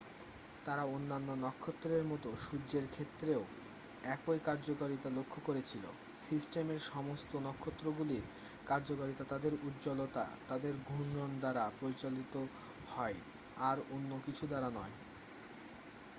তারা অন্যান্য নক্ষত্রের মতো সূর্যের ক্ষেত্রেও একই কার্যকারিতা লক্ষ্য করেছিল সিস্টেমের সমস্ত নক্ষত্রগুলির কার্যকারিতা তাদের উজ্জ্বলতা তাদের ঘূর্ণন দ্বারা পরিচালিত হয় আর অন্য কিছু দ্বারা নয়